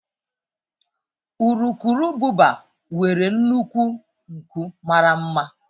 Urukurububa nwere nnukwu nku mara mma.